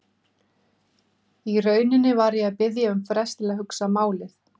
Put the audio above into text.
Í rauninni var ég að biðja um frest til að hugsa málið.